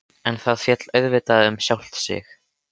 En það féll auðvitað um sjálft sig.